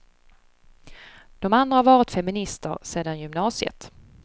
De andra har varit feminister sedan gymnasiet.